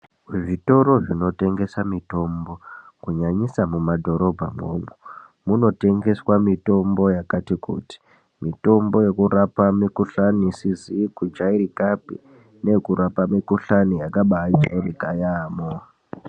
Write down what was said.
Zvitoro zvinotengesa mitombo kunyanyisa mumadhorobha imwomwo munotengeswa mitombo yakati kuti, mitombo yekurapa mikhuhlani isizi kujairikapi neyekurapa mikhuhlani yakajairika .